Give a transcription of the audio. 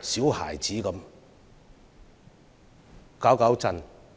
小孩子般在此生事。